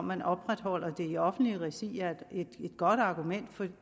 man opretholder det i offentligt regi er et godt argument